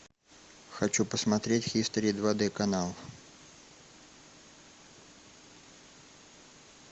хочу посмотреть хистори два д канал